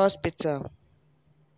hospital.